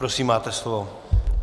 Prosím, máte slovo.